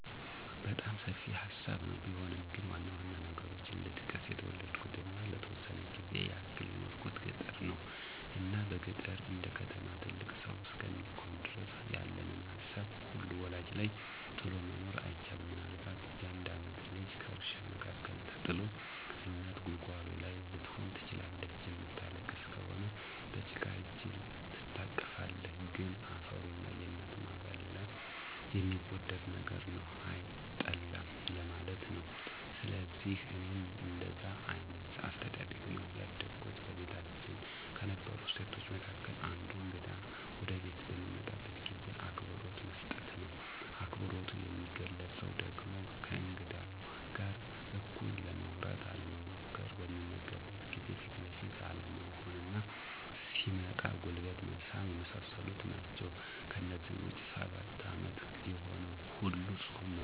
በጣም ሰፊ ሀሳብ ነው ቢሆንም ግን ዋናዋና ነገሮችን ልጥቀስ። የተወለድኩትና ለተወሰነ ጊዜ ያክል የኖርኩት ገጠር ነው። እና በገጠር እንደከተማ ትልቅ ሰው እስከሚኮን ድረስ ያለንን ሀሳብ ሁሉ ወላጅ ላይ ጥሎ መኖር አይቻልም። ምናልባት የአንድ ዓመት ልጅ ከእርሻ መካከል ተጥሎ እናት ጉልጓሎ ላይ ልትሆን ትችላለች። የምታለቅስ ከሆነ በጭቃ እጅ ትታቀፋለህ። ግን አፈሩና የናትህ ማዕዛ ሌላ የሚወደድ ነገር ነው፤ አይጠላም ለማለት ነው። ስለዚህ እኔም እንደዛ አይነት አስተዳደግ ነው ያደግኩት። በቤታችን ከነበሩ እሴቶች መካከል አንዱ እግዳ ወደቤት በሚመጣበት ጊዜ አክብሮት መስጠት ነው። አክብሮቱ የሚገለፀው ደግሞ ከእንግዳው ጋር እኩል ለማውራት አለመሞኰኰር፣ በሚመገብበት ሰዓት ፊት ለፊት አለመሆንና ሲመጣም ጉልበት መሳም የመሳሰሉት ናቸው። ከዚህ ውጭ ሰባት ዓመት የሆነው ሁሉ ፆም መፆም አለበት።